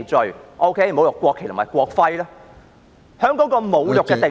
在侮辱國旗和國徽的罪行中，"侮辱"的定義......